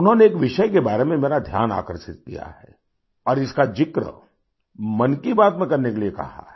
उन्होंने एक विषय के बारे में मेरा ध्यान आकर्षित किया है और इसका जिक्र मन की बात में करने के लिए कहा है